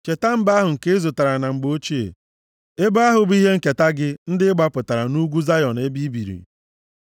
Cheta mba ahụ nke ị zụtara na mgbe ochie, ebo ahụ bụ ihe nketa gị, ndị ị gbapụtara, nʼugwu Zayọn ebe i biri.